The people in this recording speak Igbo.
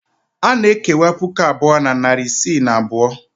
A na-ekewa puku abụọ na narị isii na abụọ.